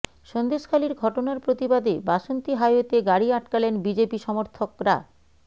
সন্দেশখালির ঘটনার প্রতিবাদে বাসন্তী হাইওয়েতে গাড়ি আটকালেন বিজেপি সমর্থকরা